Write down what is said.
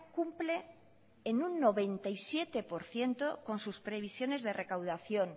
cumple en un noventa y siete por ciento con sus previsiones de recaudación